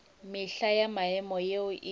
mehla ya maemo yeo e